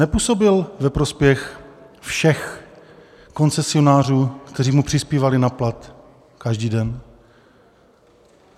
Nepůsobil ve prospěch všech koncesionářů, kteří mu přispívali na plat každý den.